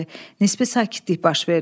Nisbi sakitlik baş verdi.